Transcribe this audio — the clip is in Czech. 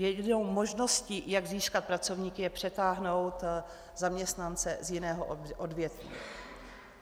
Jedinou možností, jak získat pracovníky, je přetáhnout zaměstnance z jiného odvětví.